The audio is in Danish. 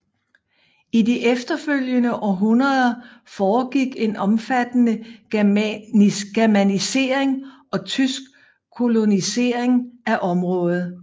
I de efterfølgende århundreder foregik en omfattende germanisering og tysk kolonisering af området